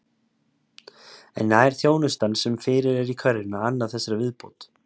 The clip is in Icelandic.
En nær þjónustan sem fyrir er í hverfinu að anna þessari viðbót?